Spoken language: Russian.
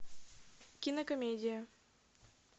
кинокомедия